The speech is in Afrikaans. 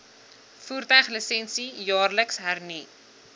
voertuiglisensie jaarliks hernu